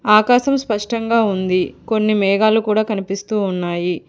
ఆకాశం స్పష్టంగా ఉంది కొన్ని మేఘాలు కూడా కనిపిస్తూ ఉన్నాయి.